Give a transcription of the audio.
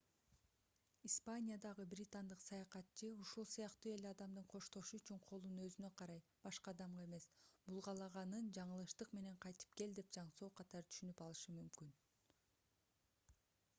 испаниядагы британдык саякатчы ушул сыяктуу эле адамдын коштошуу үчүн колун өзүнө карай башка адамга эмес булгалаганын жаңылыштык менен кайтып кел деген жаңсоо катары түшүнүп алышы мүмкүн